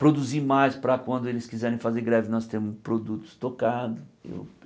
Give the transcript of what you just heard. Produzi mais para quando eles quiserem fazer greve nós termos produto estocado.